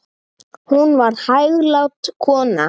Hún var hæglát kona.